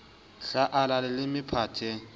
hla a ala leleme phate